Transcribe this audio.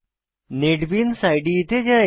NetBeans ইদে তে যাই